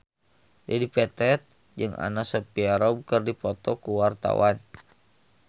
Dedi Petet jeung Anna Sophia Robb keur dipoto ku wartawan